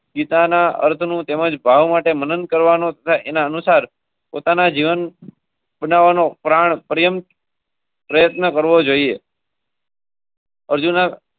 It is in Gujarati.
જાનાનું તેમજ ભાવ માટે મદદ કરવાના અનુસાર પોતાના જીવન.